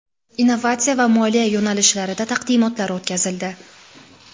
innovatsiya va moliya yo‘nalishlarida taqdimotlar o‘tkazildi.